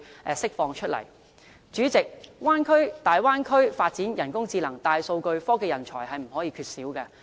代理主席，大灣區發展人工智能和大數據，科技人才是不能缺少的。